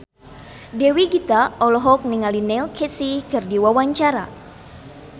Dewi Gita olohok ningali Neil Casey keur diwawancara